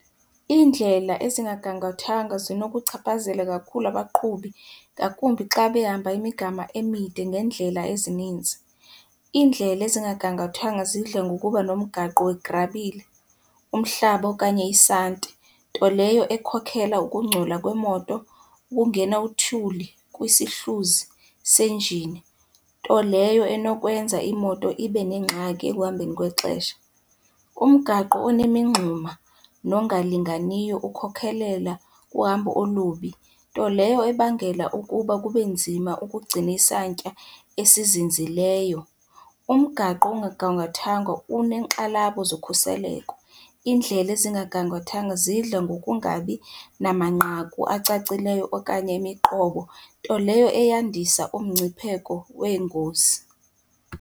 Iindlela ezingagangathwanga zinokuchaphazela kakhulu abaqhubi, ngakumbi xa behamba imigama emide ngeendlela ezininzi. Iindlela ezingagangathwanga zidla ngokuba nomgaqo wegrabile, umhlaba okanye isanti. Nto leyo ekhokhela ukungcola kwemoto, ukungena uthuli kwisihluzi senjini, nto leyo enokwenza imoto ibe nengxaki ekuhambeni kwexesha. Umgaqo onemingxuma nongalinganiyo ukhokhelela kuhambo olubi, nto leyo ebangela ukuba kube nzima ukugcina isantya esizinzileyo. Umgaqo ongagangathwanga uneenxalabo zokhuseleko, iindlela ezingagangathwanga zidla ngokungabi namanqaku acacileyo okanye imiqobo, nto leyo eyandisa umngcipheko weengozi.